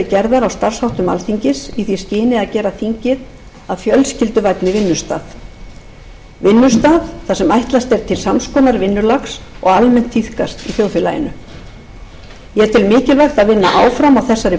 gerðar á starfsháttum alþingis í því skyni að gera þingið að fjölskylduvænni vinnustað vinnustað þar sem ætlast er til samskonar vinnulags og almennt tíðkast í þjóðfélaginu ég tel mikilvægt að vinna áfram á þessari